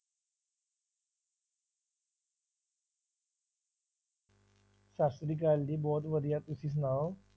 ਸਤਿ ਸ੍ਰੀ ਅਕਾਲ ਜੀ ਬਹੁਤ ਵਧੀਆ ਤੁਸੀਂ ਸੁਣਾਓ।